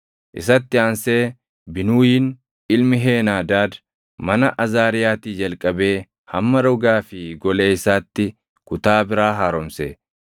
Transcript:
Isatti aansee Binuuyiin ilmi Heenaadaad mana Azaariyaatii jalqabee hamma rogaa fi golee isaatti kutaa biraa haaromse;